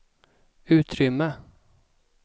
utrymme